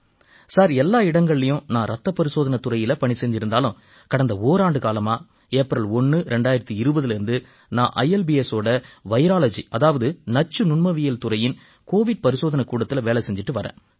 sir எல்லா இடங்கள்லயும் நான் ரத்தப் பரிசோதனைத் துறையில பணி செஞ்சிருந்தாலும் கடந்த ஓராண்டுக்காலமா ஏப்ரல் 1 2020லேர்ந்து நான் ILBSஓட வைராலஜி அதாவது நச்சுநுண்மவியல் துறையின் கோவிட் பரிசோதனைக் கூடத்தில வேலை செஞ்சிட்டு வர்றேன்